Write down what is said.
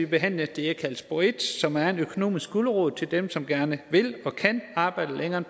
behandle det jeg kalder spor en som er en økonomisk gulerod til dem som gerne vil og kan arbejde længere